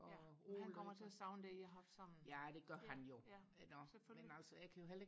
ja han kommer til og savne det I har haft sammen ja ja selvfølgelig